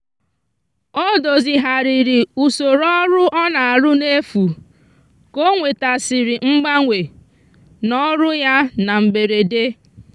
o dozigharịrị usoro ọrụ ọ na-arụ n'efu ka o nwetasịrị mgbanwe n'ọrụ ya na mberede.